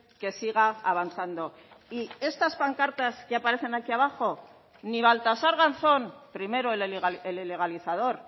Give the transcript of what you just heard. que siga avanzando y estas pancartas que aparecen aquí abajo ni baltasar garzón primero el ilegalizador